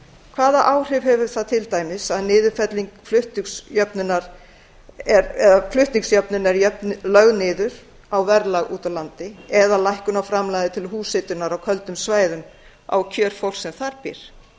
hvaða áhrif hefur til dæmis niðurfelling flutningsjöfnunar á verðlag úti á landi eða lækkun á framlagi til húshitunar á köldum svæðum á kjör fólks sem þar býr